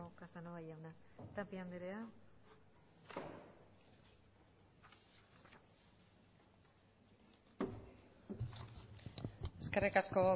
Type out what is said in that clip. casanova jauna tapia andrea eskerrik asko